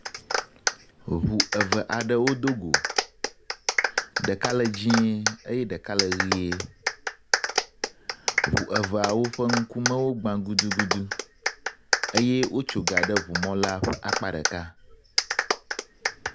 Hoŋu eve aɖewo do go. Ɖeka le dzɛ̃ eye ɖeka le ʋee. Ŋu eveawo ƒe ŋkume gbã gudugudu eye wotso ga ɖe ŋu mɔ la ƒe akpa ɖeka.